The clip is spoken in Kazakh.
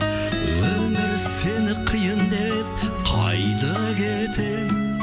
өмір сені қиын деп қайда кетемін